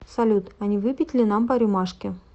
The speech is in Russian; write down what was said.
салют а не выпить ли нам по рюмашке